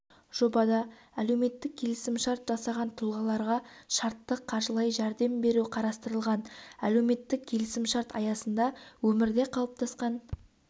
жобада әлеуметтік келісімшарт жасаған тұлғаларға шартты қаржылай жәрдем беру қарастырылған әлеуметтік келісімшарт аясында өмірде қалыптасқан